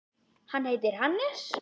Hann heitir Hannes.